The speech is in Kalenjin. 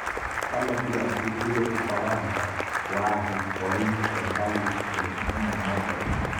Kale DRC ibei ufaransa waasi koim serkalit eng emenoto